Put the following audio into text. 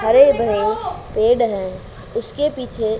हरे भरे पेड़ हैं उसके पीछे--